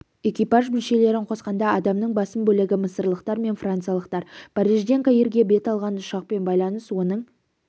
экипаж мүшелерін қосқанда адамның басым бөлігі мысырлықтар мен франциялықтар парижден каирге бет алған ұшақпен байланыс оның